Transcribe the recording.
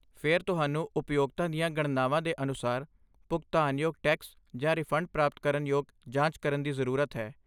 ਫਿਰ ਤੁਹਾਨੂੰ ਉਪਯੋਗਤਾ ਦੀਆਂ ਗਣਨਾਵਾਂ ਦੇ ਅਨੁਸਾਰ ਭੁਗਤਾਨਯੋਗ ਟੈਕਸ ਜਾਂ ਰਿਫੰਡ ਪ੍ਰਾਪਤ ਕਰਨ ਯੋਗ ਜਾਂਚ ਕਰਨ ਦੀ ਜ਼ਰੂਰਤ ਹੈ।